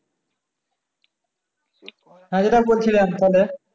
হ্যাঁ যেটা বলছিলাম তাইলে